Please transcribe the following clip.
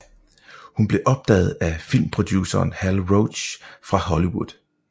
Hun blev opdaget af filmproduceren Hal Roach fra Hollywood